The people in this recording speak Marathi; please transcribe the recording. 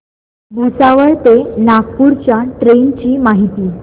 भुसावळ ते नागपूर च्या ट्रेन ची माहिती